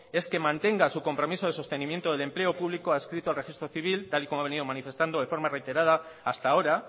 es que mantenga su compromiso de sostenimiento del empleo público adscrito al registro civil tal y como ha venido manifestado de forma reiterada hasta ahora